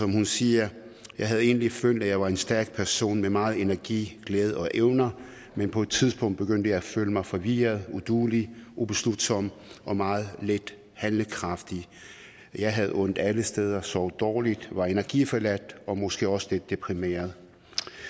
hun siger jeg havde egentlig følte at jeg var en stærk person med meget energi glæde og evner men på et tidspunkt begyndte jeg at føle mig forvirret uduelig ubeslutsom og meget lidt handlekraftig jeg havde ondt alle steder sov dårligt var energiforladt og måske også lidt deprimeret